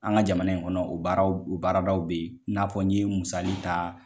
An ka jamana in kɔnɔ o baaraw o baaradaw bɛ ye i n'a fɔ n ye musali ta.